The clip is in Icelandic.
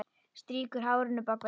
Strýkur hárinu bak við eyrað.